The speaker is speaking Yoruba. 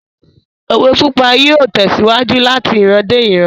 Òwe pípa yóò tèsíwájú lati iran dé ìran